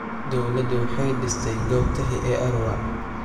Dawladdu waxay dhistay goob taxi ee Arua.